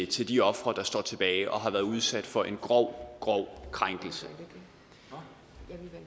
til de ofre der står tilbage og har været udsat for en grov grov krænkelse